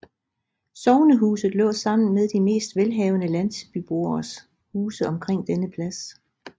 Sognehuset lå sammen med de mest velhavende landsbyboeres huse omkring denne plads